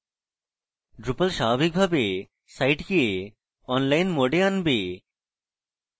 drupal স্বাভাবিকভাবে সাইটকে online mode এ আনবে